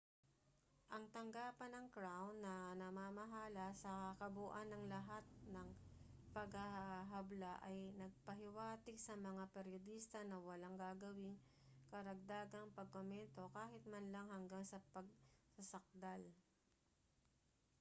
ang tanggapan ng crown na namamahala sa kabuuan ng lahat ng paghahabla ay nagpahiwatig sa mga peryodista na walang gagawing karagdagang pagkomento kahit man lang hanggang sa pagsasakdal